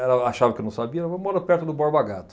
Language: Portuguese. Ela achava que eu não sabia, eu moro perto do Borba Gato.